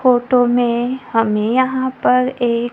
photo में हमें यहां पर एक--